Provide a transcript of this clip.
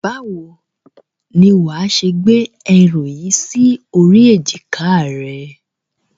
Báwo ni wàá ṣe gbé ẹrù yìí sí orí èjìká rẹ?